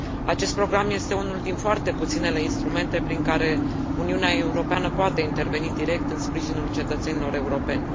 Acest program este unul din foarte puținele instrumente prin care Uniunea Europeană poate interveni direct în sprijinul cetățenilor europeni.